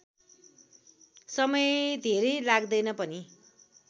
समय धेरै लाग्दैन पनि